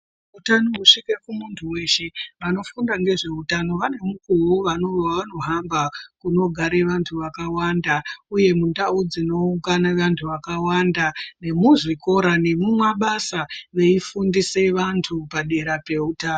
Utano husvike kumuntu weshe vanofunda ngezveutano vane mukuwowo wavanohamba unogare vantu vakawanda uye mundau dzinoungane vantu vakawanda nemuzvikora nemumabasa veifundise vantu padera peutano.